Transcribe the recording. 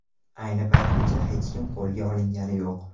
Ayni paytgacha hech kim qo‘lga olingani yo‘q.